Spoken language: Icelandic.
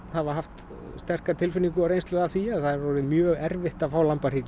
hafa haft sterka tilfinningu og reynslu af því að það er orðið mjög erfitt að fá